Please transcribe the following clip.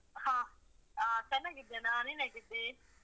ಹ ಆಹ್ ಚೆನ್ನಾಗಿದ್ದೇನಾ ನೀನೇಗಿದ್ದೀ?